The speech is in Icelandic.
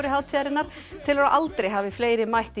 hátíðarinnar telur að aldrei hafi fleiri mætt í